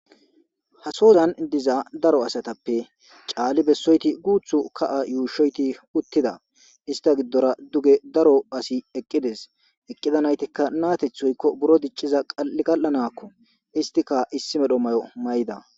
Ha sozan diza daro asatappe caalli bessoyti guuthu ka7a yuushoyti uttida ista giddora duge daro asi eqqides eqqida naytikka naatethoykko buro dicciza qa7gal7anakko istika issi medho mayo may7ida.